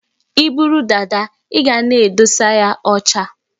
I buru dada, i ga na-adụsa ya ọcha